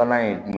Bana in bi